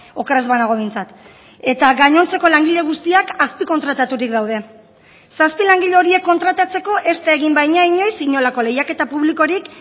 oker ez banago behintzat eta gainontzeko langile guztiak azpikontrataturik daude zazpi langile horiek kontratatzeko ez da egin baina inoiz inolako lehiaketa publikorik